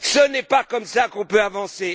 Ce n'est pas comme cela qu'on peut avancer.